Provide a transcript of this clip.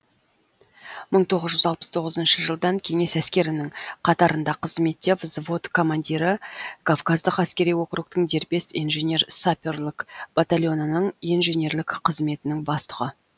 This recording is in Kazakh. мың тоғыз жүз алпыс тоғызыншы жылдан кеңес әскерінің қатарында қызметте взвод командирі кавказдық әскери округтың дербес инженер саперлік батальонының инженерлік қызметінің бастығы